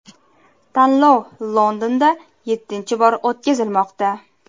Tanlov Londonda yettinchi bor o‘tkazilmoqda.